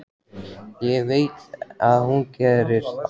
Hann veit að hún gerir það.